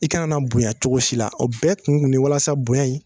I kana na bonya cogo si la o bɛɛ kun kun ne ye walasa bonya in